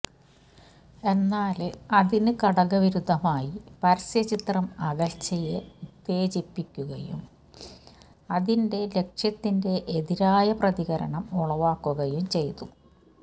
എന്നാല് അതിന് കടകവിരുദ്ധമായി പരസ്യചിത്രം അകല്ച്ചയെ ഉത്തേജിപ്പിക്കുകയും അതിന്റെ ലക്ഷ്യത്തിന്റെ എതിരായ പ്രതികരണം ഉളവക്കകുയും ചെയ്തു